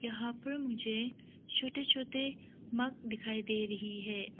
यहां पर मुझे छोटे छते मग दिखाई दे रही है।